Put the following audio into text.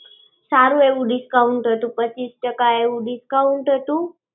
સારું એવું discount હતું. પચીસ ટક્કા એવું discount હતું.